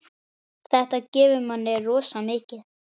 Þetta gefur manni rosa mikið.